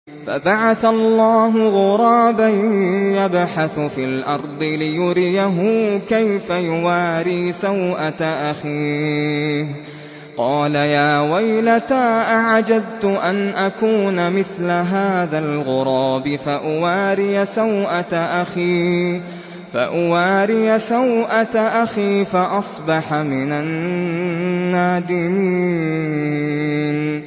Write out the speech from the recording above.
فَبَعَثَ اللَّهُ غُرَابًا يَبْحَثُ فِي الْأَرْضِ لِيُرِيَهُ كَيْفَ يُوَارِي سَوْءَةَ أَخِيهِ ۚ قَالَ يَا وَيْلَتَا أَعَجَزْتُ أَنْ أَكُونَ مِثْلَ هَٰذَا الْغُرَابِ فَأُوَارِيَ سَوْءَةَ أَخِي ۖ فَأَصْبَحَ مِنَ النَّادِمِينَ